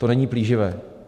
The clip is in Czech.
To není plíživé.